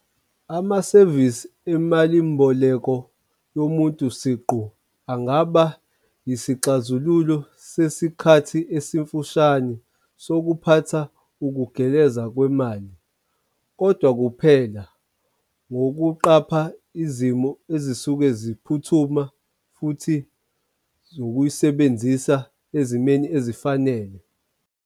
Amasevisi emalimboleko yomuntu siqu angaba yisixazululo sesikhathi esifushane sokuphatha ukugeleza kwemali. Kodwa kuphela ngokuqapha izimo ezisuke ziphuthuma, futhi zokuyisebenzisa ezimeni ezifanele.